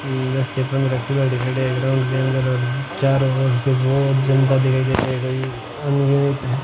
दस से पन्द्रह खिलाड़ी खड़े है लोग चारों ओर से बोहोत जनता दिखाई दे रही --